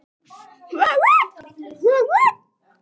Hvað er að hrjá hann?